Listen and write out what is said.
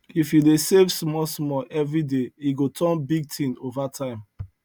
if you dey save smallsmall every day e go turn big thing over time